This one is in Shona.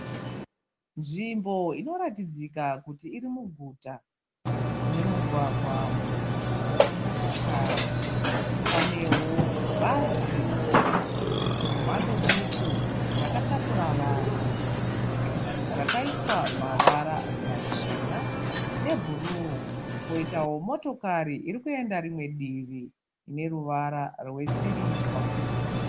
Nzvimbo inoratidzika kuti iri muguta. Mune mugwagwa mukuru wedzimotokari. Panewo bhazi remhando duku rakatakura vanhu rakaiswa mavara machena nebhuru. Poitawo motokari iri kuenda rimwe divi ine ruvara rwesirivha.